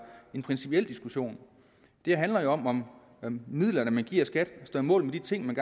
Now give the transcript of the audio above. en principiel diskussion det handler jo om om om midlerne man giver skat står mål med de ting man